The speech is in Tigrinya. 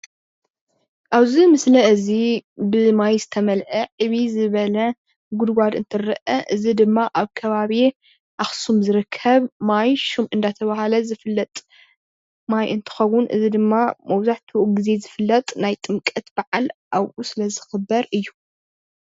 ኣብዚ ምስሊ እዚ ብማይ ዝተመልአ ዕብይ ዝበለ ጉድጓድ እትርአ እዚ ድማ ኣብ ከባቢ ኣኽሱም ዝርከብ ማይ ሹም እንዳተባህለ ዝፍለጥ ማይ እንትኸውን እዚ ድማ መብዛሕቲኡ ግዜ ዝፍለጥ ናይ ጥምቀት በዓል ኣብኡ ስለዝኽበር እዩ።